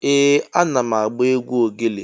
Ee! Ana m agba egwu ogele.